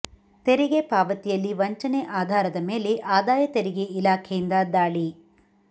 ತೆರಿಗೆ ಪಾವತಿಯಲ್ಲಿ ವಂಚನೆ ಆಧಾರದ ಮೇಲೆ ಆದಾಯ ತೆರಿಗೆ ಇಲಾಖೆಯಿಂದ ದಾಳಿ